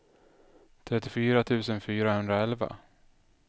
trettiofyra tusen fyrahundraelva